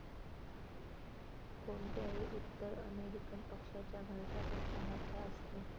कोणत्याही उत्तर अमेरिकन पक्षाच्या घरट्यापेक्षा मोठे असते.